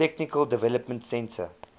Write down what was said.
technical development center